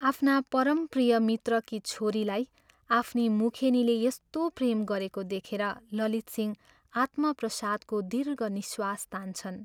आफ्ना परम प्रिय मित्रकी छोरीलाई आफ्नी मुखेनीले यस्तो प्रेम गरेको देखेर ललितसिंह आत्मप्रसादको दीर्घ निःश्वास तान्छन्।